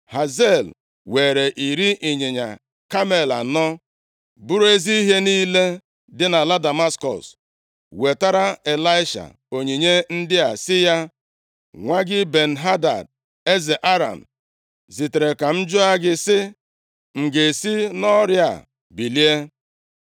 Hazael weere iri ịnyịnya kamel anọ buru ezi ihe niile si nʼala Damaskọs, + 8:9 Damaskọs, bụ isi obodo dị mkpa ebe a na-azụ ahịa, nke dị nʼetiti mba Ijipt, na Eshịa nke mpaghara Tọki na Mesopotamịa. wetara Ịlaisha onyinye ndị a sị ya, “Nwa gị Ben-Hadad, eze Aram, zitere ka m jụọ gị sị, ‘M ga-esi nʼọrịa a bilie?’ ”